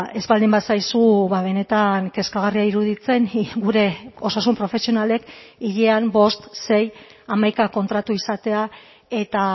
ez baldin bazaizu benetan kezkagarria iruditzen gure osasun profesionalek hilean bost sei hamaika kontratu izatea eta